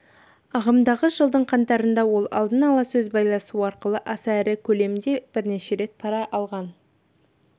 ағымдағы жылдың қаңтарында ол алдын-ала сөз байласу арқылы аса ірі көлемде бірнеше рет пара алған